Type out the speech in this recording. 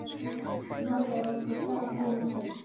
Hann horfði á okkur, dapur og kyrr.